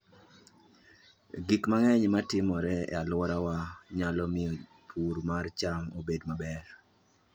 Gik mang'eny ma timore e alworawa nyalo miyo pur mar cham obed maber.